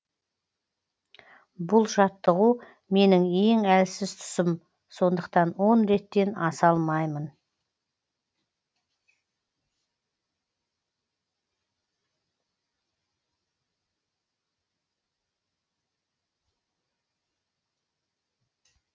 бұл жаттығу менің ең әлсіз тұсым сондықтан он реттен аса алмаймын